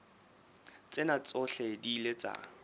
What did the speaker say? tsena tsohle di ile tsa